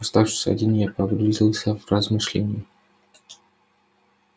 оставшись один я погрузился в размышления